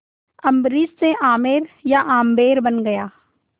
अम्बरीश से आमेर या आम्बेर बन गया